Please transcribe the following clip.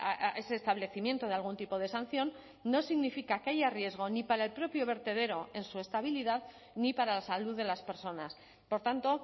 a ese establecimiento de algún tipo de sanción no significa que haya riesgo ni para el propio vertedero en su estabilidad ni para la salud de las personas por tanto